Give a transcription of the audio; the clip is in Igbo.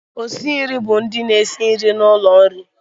Osi nri bụ ndị na-esi nri n'ụlọ nri